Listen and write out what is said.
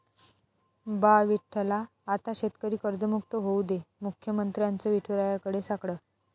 बा विठ्ठला, आता शेतकरी कर्जमुक्त होऊ दे, मुख्यमंत्र्यांचं विठुरायाकडे साकडं